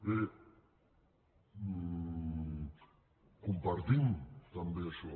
bé compartim també això